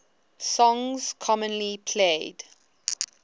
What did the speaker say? songs commonly played